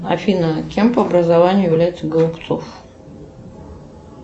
афина кем по образованию является голубцов